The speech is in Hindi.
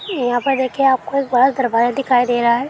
यहाँ पर देखे आपको एक बड़ा दरवाज़ा दिखाई दे रहा है।